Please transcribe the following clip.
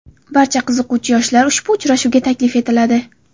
Barcha qiziquvchi yoshlar ushbu uchrashuvga taklif etiladi.